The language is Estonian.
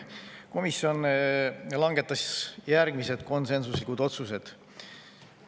Komisjon langetas järgmised konsensuslikud otsused.